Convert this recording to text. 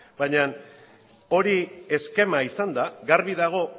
baina hori eskema izanda garbi dago